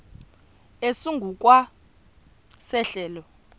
esingu kwa sehlelo